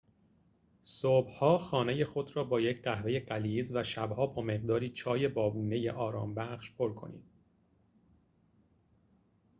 صبح‌ها خانه خود را با یک قهوه غلیظ و شب‌ها با مقداری چای بابونه‌ی آرامش‌بخش پر کنید